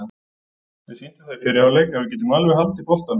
Við sýndum það í fyrri hálfleik að við getum alveg haldið boltanum.